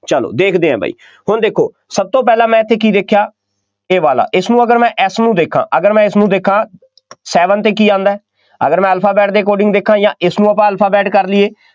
ਚੱਲੋ ਦੇਖਦੇ ਆ ਬਈ, ਹੁਣ ਦੇਖੋ, ਸਭ ਤੋਂ ਪਹਿਲਾਂ ਮੈਂ ਇੱਥੇ ਕੀ ਦੇਖਿਆ, ਇਹ ਵਾਲਾ ਇਸਨੂੰ ਅਗਰ ਮੈਂ ਇਸਨੂੰ ਦੇਖਾਂ ਅਗਰ ਮੈਂ ਇਸਨੂੰ ਦੇਖਾਂ seven 'ਤੇ ਕੀ ਆਉਂਦਾ, ਅਗਰ ਮੈਂ alphabet ਦੇ according ਦੇਖਾਂ ਜਾਂ ਇਸਨੂੰ ਆਪਾਂ alphabet ਕਰ ਲਈਏ।